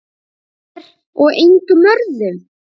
Þér og engum öðrum.